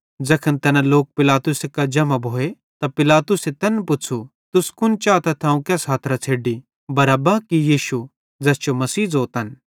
ज़ैखन तैना लोक पिलातुसे कां जम्हां भोए त पिलातुसे तैन पुच़्छ़ू तुस कुन चातथ अवं केस हथरां छ़ेड्डी बरअब्बा कि यीशु ज़ैस जो मसीह ज़ोतन